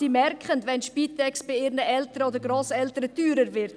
Sie merken, wenn die Spitex bei ihren Eltern oder Grosseltern teurer wird.